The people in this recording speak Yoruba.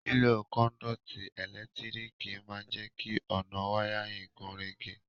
Lílo conduit ẹ́lẹ̀ntíríkì ma n je ki ọ̀nà wiring gúnrégé